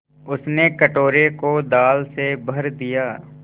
उसने कटोरे को दाल से भर दिया